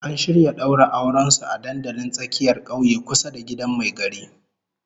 An shirya daura auren su a dandalin tsakiyar kauye kusa da gidan mai gari